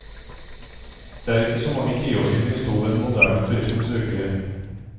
Det er ikke så mange tiår siden vi sto ved den moderne turismens vugge.